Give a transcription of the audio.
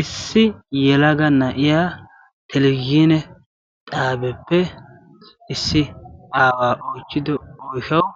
Issi yelaga na'iya televvizhzhinne xaabiya issi aawa oychchiddo oyshawu